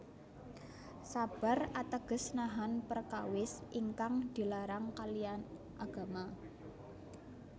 Sabar ateges nahan perkawis ingkang di larang kalian agama